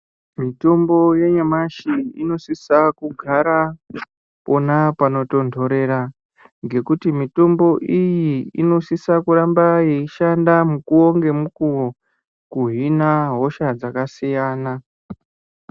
Mitombo yanyamashi inosisa kugara pona panotonhorera ngekuti mitombo iyi inosisa kuramba yeishanda mukuwo ngemukuwo kuhina hosha dzakasiyana.